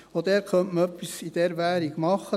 Dort könnte man etwas in dieser Art machen.